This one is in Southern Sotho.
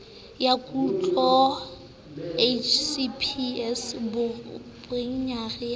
ya kutlo hcps boenjinere ba